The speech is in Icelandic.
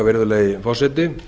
virðulegi forseti